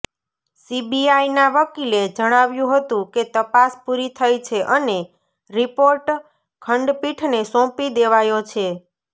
સીબીઆઇના વકીલે જણાવ્યું હતું કે તપાસ પૂરી થઇ છે અને રિપોર્ટ ખંડપીઠને સોંપી દેવાયો છે